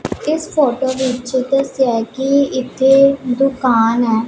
ਇਸ ਫ਼ੋਟੋ ਵਿੱਚ ਦੱਸੇਆ ਹੈ ਕੀ ਇੱਥੇ ਦੁਕਾਨ ਹੈ।